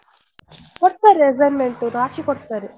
ಕೊಡ್ತಾರೆ assignment ರಾಶಿ ಕೊಡ್ತಾರೆ.